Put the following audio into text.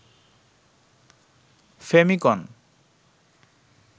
ফেমিকন